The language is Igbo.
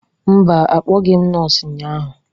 Mba, akpọghị m nọọsụ ụnyahụ